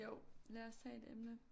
Jo lad os tage et emne